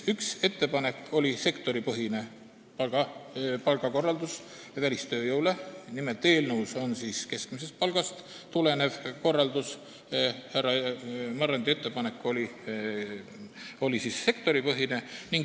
Üks ettepanek on välistööjõu sektoripõhine palgakorraldus, eelnõus on keskmisest palgast tulenev korraldus, härra Marrandi ettepanek on sektoripõhine.